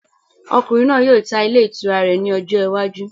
Ọkùnrin náà yóò tá ilé itúrá rẹ ní ọjọ iwájú